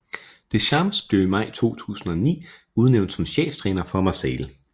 Deschamps blev i maj 2009 udnævnt som cheftræner for Marseille